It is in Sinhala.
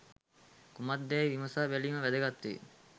කුමක්දැයි විමසා බැලීම වැදගත් වේ